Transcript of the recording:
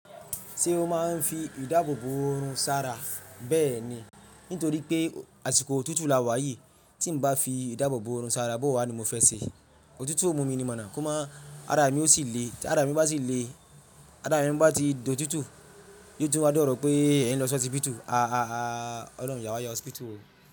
Ṣé o máa ń fi ìdáàbò bò oòrùn ṣára? Bẹ́ẹ̀ ni, nítorí pé àsìkò òtútù la wà yìí, tí ń bá fi ìdáàbò bò oòrùn ṣára, bó wà ni mo fẹ́ ṣe? Òtútù yóò mú mi ni mọ̀ná, kó má ara mi ó sì le. Ti ara mi bá sì le, ara mi bá ti dòtútù, yóò tún wá dọ̀rọ̀ pé èèyàn ń lọ sí ọtí pítù. Àá ọlọ́run yà wá ya ọsibítù.